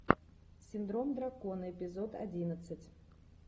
синдром дракона эпизод одиннадцать